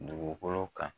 Dugukolo kan